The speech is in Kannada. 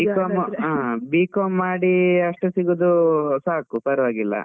ಹಾ B.com ಮಾಡಿ ಅಷ್ಟು ಸಿಗೋದು ಸಾಕು ಪರವಾಗಿಲ್ಲ.